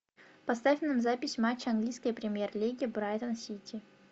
поставь нам запись матча английской премьер лиги брайтон сити